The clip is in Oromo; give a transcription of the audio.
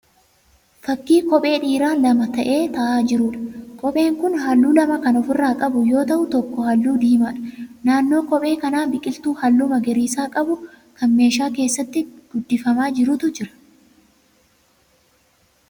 Fakkii kophee dhiiraa lama ta'ee taa'aa jiruudha. Kopheen kun halluu lama kan ofirraa qabu yoo ta'u tokko halluu diimaadha. Naannoo kophee kanaa biqiltuu halluu magariisa qabu kan meeshaa keessatti guddifamaa jirutu jira.